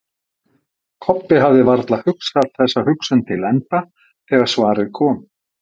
Kobbi hafði varla hugsað þessa hugsun til enda þegar svarið kom.